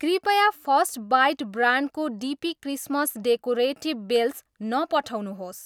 कृपया first bite ब्रान्डको DP Christmas decorative bells नपठाउनुहोस्।